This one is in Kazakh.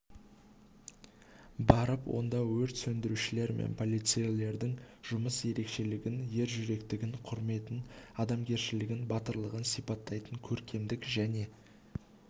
барып онда өрт сөндірушілер мен полицейлердің жұмыс ерекшелігін ержүректілігін құрметін адамгершілігін батырлығын сипаттайтын көркемдік және